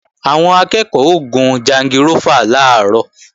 Àwọn akẹ́ẹ̀kọ́ ó gun jangirófà làárọ̀